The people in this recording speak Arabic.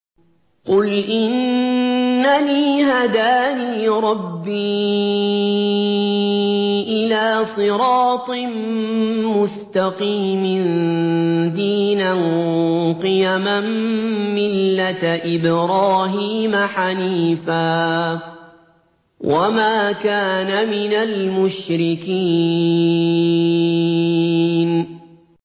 قُلْ إِنَّنِي هَدَانِي رَبِّي إِلَىٰ صِرَاطٍ مُّسْتَقِيمٍ دِينًا قِيَمًا مِّلَّةَ إِبْرَاهِيمَ حَنِيفًا ۚ وَمَا كَانَ مِنَ الْمُشْرِكِينَ